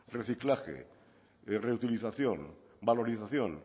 reciclaje reutilización valorización